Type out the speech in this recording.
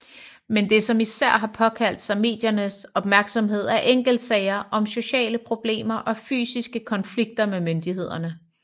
Men det som især har påkaldt sig mediernes opmærksomhed er enkeltsager om sociale problemer og fysiske konflikter med myndigheder